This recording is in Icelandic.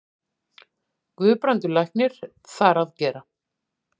Guðbrandur læknir þar að gera.